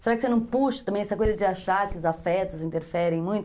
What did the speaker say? Será que você não puxa também essa coisa de achar que os afetos interferem muito?